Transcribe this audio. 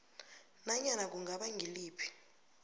nanyana kungaba ngiliphi